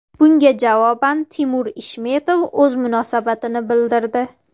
Bunga javoban Timur Ishmetov o‘z munosabatini bildirdi.